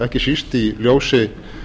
ekki síst í ljósi